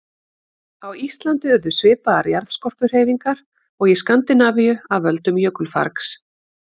Á Íslandi urðu svipaðar jarðskorpuhreyfingar og í Skandinavíu af völdum jökulfargs.